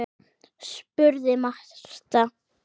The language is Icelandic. spurði Marta.